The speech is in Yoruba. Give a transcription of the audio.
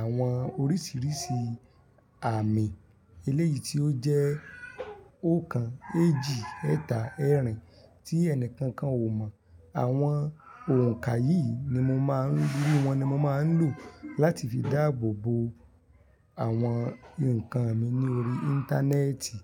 àwọn oríṣìíríṣìí àmì eléyìí tí ó jẹ́ oókan, èjì, ẹ́tà, ẹ́ẹ̀rìn tí ẹni kankan ò mọ̀. Àwọn oǹkaye yìí ni mo má ń rí, wọ́n ni mo máa ń lò láti fi dáàbò bo àwọn nǹkan mi ní orí Íńtánẹ́ẹ̀tì.